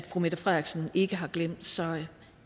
fru mette frederiksen ikke har glemt så